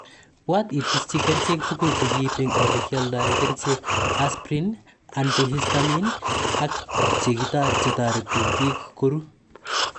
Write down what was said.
Bwat itischi kerchek tugul, chegiip eng ole kialdai kerchek, asprin, antihistamines ak che tariti bik koruu.